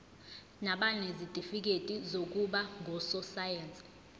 nabanezitifikedi zokuba ngososayense